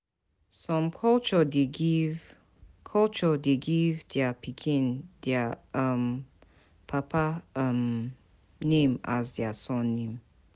Some culture de give dia pikin dia papa name as their surname